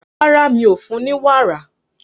Rárá, mi ò fún un ní wàrà